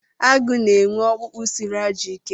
Agụ na-enwe ọkpụkpụ siri ajọ ike.